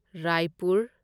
Raipur